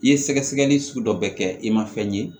I ye sɛgɛsɛgɛli sugu dɔ kɛ i ma fɛn ye